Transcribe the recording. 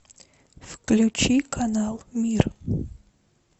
включи канал мир